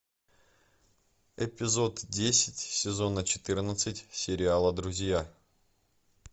эпизод десять сезона четырнадцать сериала друзья